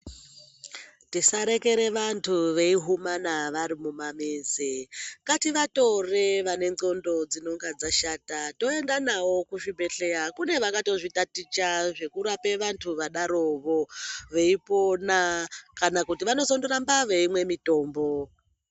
Tisarekera vantu veihumana varikumamizi ngativatore vane ndxondo dzinenge dzashata toenda navo kuzvibhedhleya kune vakatozvitaticha zvekurapa vantu vadarovo veipona kana kuti vanotozoramba veimwa mitombo.